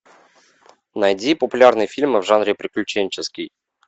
найди популярные фильмы в жанре приключенческий